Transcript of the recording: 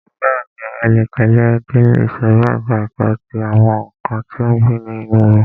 Bẹ́ẹ̀ni, ẹ le tẹ̀lẹ́ ẹ dé ìsòrí ẹka ẹ̀kọ́ ti àwọn nǹkan tí ó ń gbé inú omi.